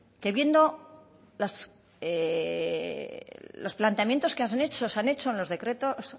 que viendo los planteamientos que se han hecho